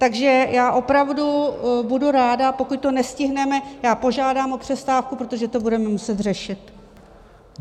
Takže já opravdu budu ráda - pokud to nestihneme, já požádám o přestávku, protože to budeme muset řešit.